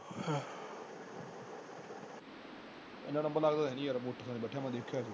ਹਨ ਲੰਬਾ ਲਗਦਾ ਤਾਂ ਹੈ ਨੀ ਯਾਰ ਮੈਂ ਉਠਿਆ ਬੈਠਾ ਦੇਖਿਆ ਸੀ।